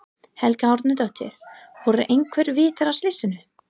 Helga Arnardóttir: Voru einhver vitni að slysinu?